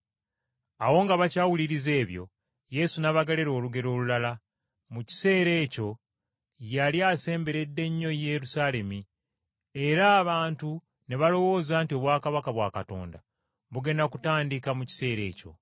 Awo nga bakyawuliriza ebyo, Yesu n’abagerera olugero olulala. Mu kiseera ebyo yali asemberedde nnyo Yerusaalemi, era abantu ne balowooza nti obwakabaka bwa Katonda bugenda kutandika mu kiseera ekyo.